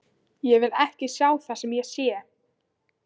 Ég vil ekki sjá það sem ég sé.